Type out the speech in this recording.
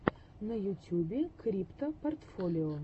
в ютьюбе криптопортфолио